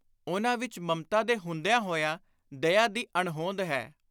ਉਨ੍ਹਾਂ ਵਿਚ ਮਮਤਾ ਦੇ ਹੁੰਦਿਆਂ ਹੋਇਆਂ ਦਇਆ ਦੀ ਅਣਹੋਂਦ ਹੈ।